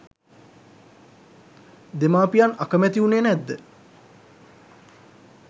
දෙමාපියන් අකමැති වුණේ නැද්ද?